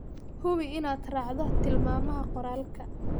Hubi inaad raacdo tilmaamaha qoraalka.